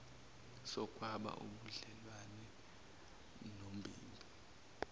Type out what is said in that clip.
sokwaba ubudlelwane nombimbi